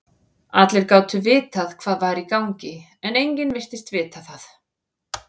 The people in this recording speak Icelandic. Allir gátu vitað hvað var í gangi, en enginn virtist vita það.